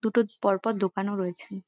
দুটো পর পর দোকানও রয়েছে।